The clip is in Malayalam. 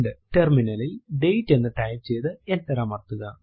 terminal ലിൽ ഡേറ്റ് എന്ന് ടൈപ്പ് ചെയ്തു എന്റർ അമർത്തുക